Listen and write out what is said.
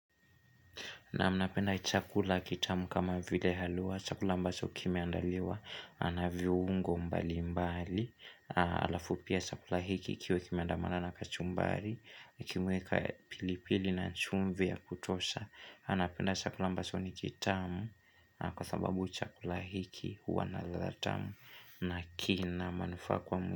Naam napenda chakula kitamu kama vile halua, chakula ambacho kimeandaliwa, na viungo mbali mbali, halafu pia chakula hiki kiwe kimeandamana na kachumbari, kimewekwa pilipili na nchumvi ya kutosha, napenda chakula ambacho ni kitamu kwa sababu chakula hiki huwa na radha tamu na kina manufaa kwa mtu.